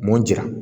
Mun jira